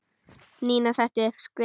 Nína setti upp skeifu.